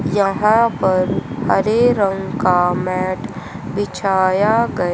यहां पर हरे रंग का मैट बिछाया गया--